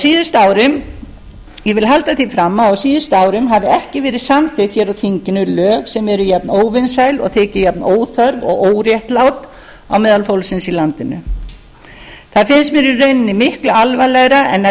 halda því fram að á síðustu árum hafi ekki verið samþykkt hér á þinginu lög sem eru jafn óvinsæl og þyki jafnóþörf og óréttlát á meðal fólksins í landinu það finnst mér í rauninni miklu alvarlegra en að